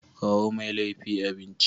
Kawo Mai laifi abinci.